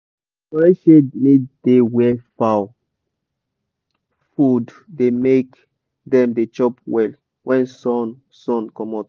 correct shade need da wer fowl food da make dem da chop well when sun sun comot